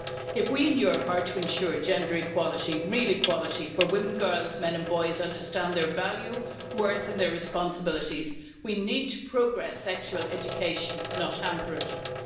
If we in Europe are to ensure gender equality real equality where women, girls, men and boys, understand their value, worth and responsibilities, we need to progress sexual education, not hamper it.